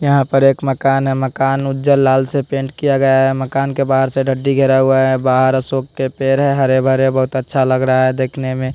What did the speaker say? यहां पर एक मकान है मकान उज्जर लाल से पेंट किया गया है मकान के बाहर से डड्डी घेरा गया है बाहर अशोक के पेड़ हैं हरे भरे बहुत अच्छा लग रहा है देखने में।